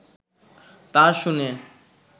তা শুনে